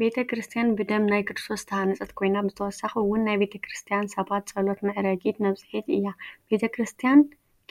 ቤተ ክርስትያን ብደም ናይ ክርስቶስ ዝተሃነፀት ኮይና፣ ብተወሳኪ እውን ናይ ክርስትያን ሰባት ፀሎት መዕረጊት/መብፅሒት እያ፡፡ ቤተ ክርስትያን